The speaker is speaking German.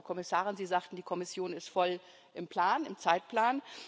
Frau Kommissarin, Sie sagten, die Kommission ist voll im Zeitplan.